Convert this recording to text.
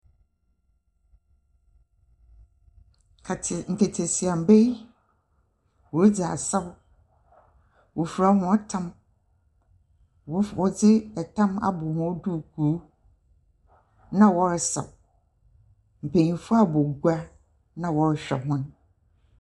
Ate... nketesia mba yi wɔredzi asaw. Wɔfura hɔn tam, wɔdze tam abɔ hɔn duukuu na wɔresaw. Mpanyimfo abɔ gua na wɔrehwɛ hɔn.